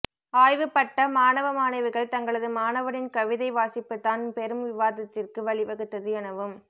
ஆய்வு பட்ட மாணவ மாணவிகள் தங்களது மாணவனின் கவிதை வாசிப்புத்தான் பெரும் விவாதத்திற்கு வழி வகுத்தது எனவும்